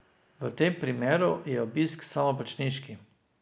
V tem primeru je obisk samoplačniški.